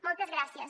moltes gràcies